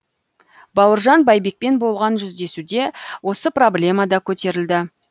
бауыржан байбекпен болған жүздесуде осы проблема да көтерілді